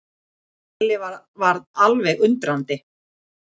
Lalli varð alveg undrandi.